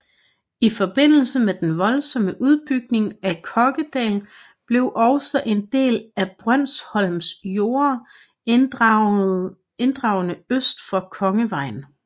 I forbindelse med den voldsomme udbygning af Kokkedal blev også en del af Brønsholms jorder inddragne øst for Kongevejen